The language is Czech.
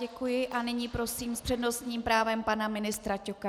Děkuji a nyní prosím s přednostním právem pana ministra Ťoka.